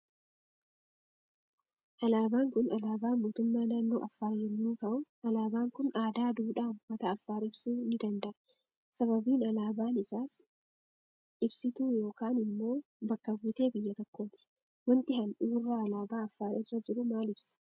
Alaaban Kun alaaba mootummaa naannoo affar yommuu ta'u alabaan Kun aadaa duudhaa uummata affar ibsuu nii danda'a sababiin alaaban isaas ibisituu yookaan immoo bakka bu'ee biyye tokkooti. Waanti handhuurra alaaba affar rra jiru maal ibsa